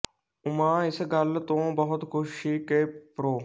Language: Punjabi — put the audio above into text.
ਉਮਾ ਇਸ ਗੱਲ ਤੋਂ ਬਹੁਤ ਖੁਸ਼ ਸੀ ਕਿ ਪ੍ਰੋ